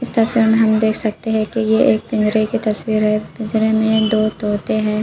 इस तस्वीर में हम देख सकते है की ये एक पिंजरे की तस्वीर हैपिंजरे में दो तोते हैं।